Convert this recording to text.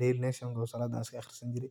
daily nation oo saladi an iskaaqrisani jire